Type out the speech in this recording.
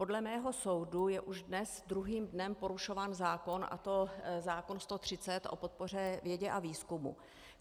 Podle mého soudu je už dnes druhým dnem porušován zákon, a to zákon 130 o podpoře vědě a výzkumu.